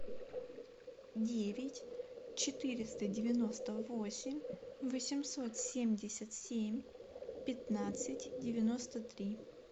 девять четыреста девяносто восемь восемьсот семьдесят семь пятнадцать девяносто три